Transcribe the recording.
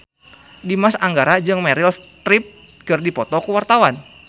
Dimas Anggara jeung Meryl Streep keur dipoto ku wartawan